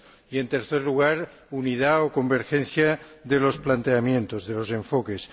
y, en tercer lugar, unidad o convergencia de los planteamientos, de los enfoques.